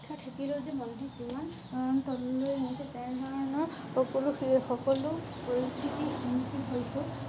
শিক্ষা থাকিলেও যে মন দি কিমান অতললৈ তেনেধৰণৰ সকলোএসকলো পৰিস্থিতি